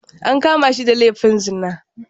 An kama shi da laifin zina.